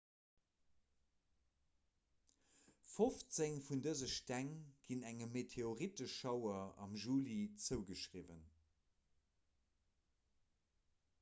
fofzéng vun dëse steng ginn engem meteoritteschauer am juli zougeschriwwen